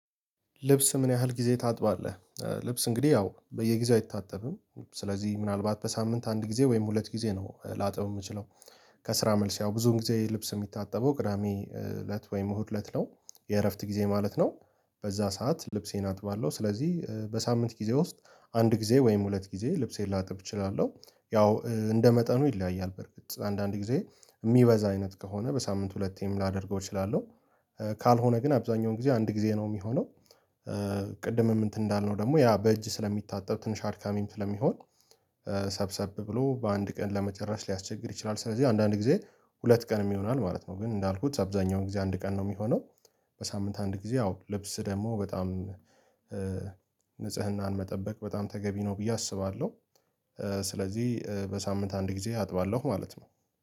ልብስ ምን ያህል ጊዜ ታጥባለህ? ኧ ልብስ እንግዲህ ያው በየጊዜው አይታጠብም ስለዚህ ምናልባት በሳምንት አንድ ጊዜ ወይም ሁለት ጊዜ ነው ላጥብ እምችለው። ከስራ መልስ ያው ብዙውን ጊዜ ልብስ እሚታጠበው ቅዳሜ ለት ወይም እሁድ ለት ነው የእረፍት ጊዜ ማለት ነው። በዛ ሰዓት ልብሴን አጥባለሁ ስለዚህ በሳምንት ጊዜ ውስጥ አንድ ጊዜ ወይም ሁለት ጊዜ ልብሴን ላጥብ እችላለሁ። ያው ኧ እንደመጠኑ ይለያያል በርግጥ አንዳንድ ጊዜ እሚበዛ አይነት ከሆነ በሳምንት ሁለቴም ላደርገው እችላለሁ። ካልሆነ ግን አብዛኛውን ጊዜ አንድ ጊዜ ነው እሚሆነው። ቅድምም እንትን እንዳልነው ደግሞ ያ በእጅ ስለሚታጠብ ትንሽ አድካሚም ስለሚሆን ኧ ሰብሰብ ብሎ በአንድ ቀን ለመጨረስ ሊያስቸግር ይችላል ስለዚህ አንዳንድ ጊዜ ሁለት ቀን ይሆናል ማለት ነው። ግን እንዳልኩት አብዛኛውን ጊዜ አንድ ቀን ነው እሚሆነው። በሳምንት አንድ ጊዜ አዎ ልብስ ደግሞ በጣም ኧ ንጽህናን መጠበቅ በጣም ተገቢ ነው ብዬ አስባለሁ። ስለዚህ ኧ በሳምንት አንድ ጊዜ አጥባለሁ ማለት ነው